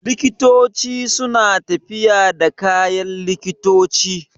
Likitoci suna tafiya da kayan likitoci